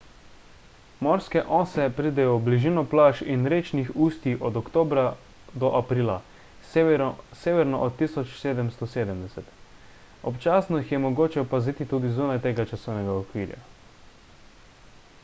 morske ose pridejo v bližino plaž in rečnih ustij od oktobra do aprila severno od 1770 občasno jih je mogoče opaziti tudi zunaj tega časovnega okvirja